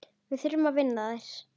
Við þurfum að vinna þær.